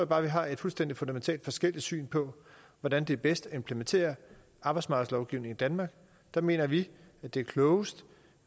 bare at vi har et fuldstændig fundamentalt forskelligt syn på hvordan det er bedst at implementere arbejdsmarkedslovgivning i danmark der mener vi at det er klogest